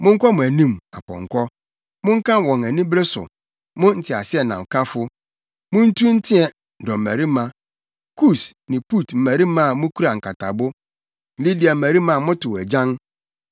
Monkɔ mo anim, apɔnkɔ! Monka wɔn anibere so, mo nteaseɛnamkafo! Muntu nteɛ, dɔmmarima, Kus ne Put mmarima a mukura nkatabo, Lidia mmarima a motow agyan.